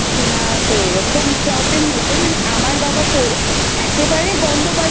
তো এরকম Problem হচ্ছে। মানে আমার বাবা একেবারে গন্ধ পাচ্ছিল।